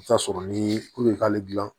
I bɛ t'a sɔrɔ ni ko i k'ale dilan